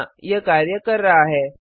हाँ यह कार्य कर रहा है